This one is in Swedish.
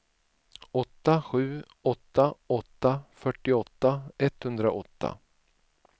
åtta sju åtta åtta fyrtioåtta etthundraåtta